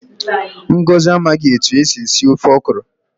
Ngọzi amaghị etu esi esi ofe okro